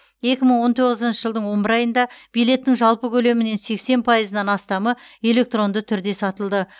екі мың он тоғызыншы жылдың он бір айында билеттің жалпы көлемінен сексен пайызынан астамы электронды түрде сатылды